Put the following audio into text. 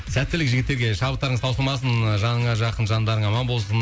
сәттілік жігіттерге шабыттарыңыз таусылмасын ыыы жаныңа жақын жандарың аман болсын